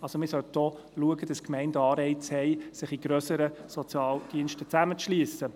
Also: Man sollte auch schauen, dass die Gemeinden Anreize haben, sich in grössere Sozialdienste zusammenzuschliessen.